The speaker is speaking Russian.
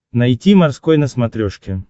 найти морской на смотрешке